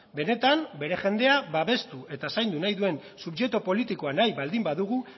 benetan bere jendea babestu eta zaindu nahi duen subjektu politikoa nahi baldin badugu